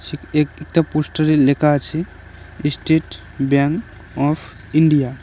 এক একটা পোস্টারে লেখা আছে এস্টেট ব্যাঙ্ক অফ ইন্ডিয়া ।